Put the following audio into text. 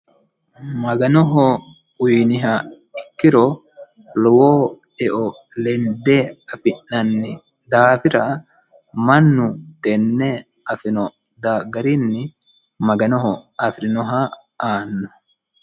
mafanoho uyiniha ikkiro lowo eo lende afi'nanni daafira mannu tenne, afino daafira maganoho afirinoha aanno